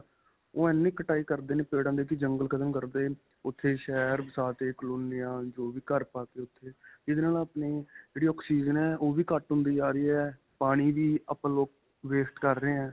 ਓਹ ਇੰਨੀ ਕਟਾਈ ਕਰਦੇ ਨੇ ਪੇੜਾ ਦੀ ਕੀ ਜੰਗਲ ਖ਼ਤਮ ਕਰਤੇ ਉੱਥੇ ਸ਼ਹਿਰ ਵਸਾ ਤੇ ਕਾਲੋਨੀ ਜੋ ਵੀ ਘਰ ਪਾ ਤੇ ਉੱਥੇ. ਇਹਦੇ ਨਾਲ ਆਪਣੇ ਜਿਹੜੀ oxygen ਹੈ. ਓਹ੍ਹ ਵੀ ਘੱਟ ਹੁੰਦੀ ਜਾ ਰਹੀ ਹੈ ਪਾਣੀ ਵੀ ਆਪਾਂ ਲੋਕ waste ਕਰ ਰਹੇ ਹੈ.